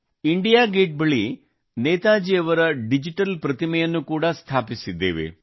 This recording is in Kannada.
ಇಂಡಿಯಾ ಗೇಟ್ ಬಳಿ ನೇತಾಜಿಯವರ ಡಿಜಿಟಲ್ ಪ್ರತಿಮೆಯನ್ನು ಕೂಡಾ ಸ್ಥಾಪಿಸಿದ್ದೇವೆ